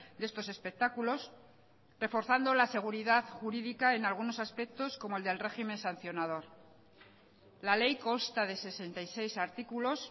de estos espectáculos reforzando la seguridad jurídica en algunos aspectos como el del régimen sancionador la ley consta de sesenta y seis artículos